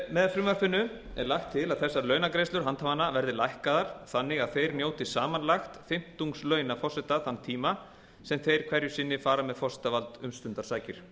með frumvarpinu er lagt til að þessar launagreiðslur handhafanna verði lækkaðar þannig að þeir njóti samanlagt fimmtungs launa forseta þann tíma sem þeir hverju sinni fara með forsetavald um stundarsakir